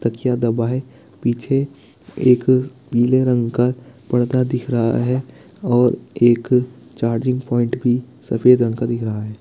तकिया दबाए पीछे एक पीले रंग का पर्दा दिख रहा है और एक चार्जिंग पॉइंट भी सफेद रंग का दिख रहा है।